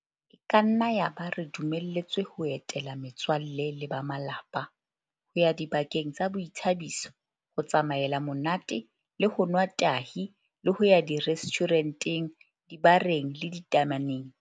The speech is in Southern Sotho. E ka nna ya ba re dumeletswe ho etela me tswalle le ba malapa, ho ya dibakeng tsa boithabiso, ho tsamaela monate le ho nwa tahi le ho ya direstjhure nteng, dibareng le ditame neng.